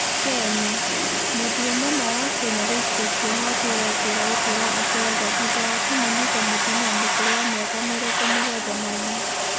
Kenya: Mũndũrũme ũmwe wa Kenya gũikio kũohũo atũre njera ũtũũro wake wothe thũtha wa kũmũnyita mũtũmia mũkurũ wa mĩaka mĩrongo mũgwanja na ina.